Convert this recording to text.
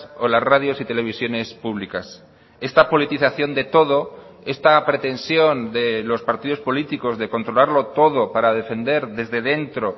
o las radios y televisiones públicas esta politización de todo esta pretensión de los partidos políticos de controlarlo todo para defender desde dentro